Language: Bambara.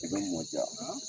I bɛ mɔ ja.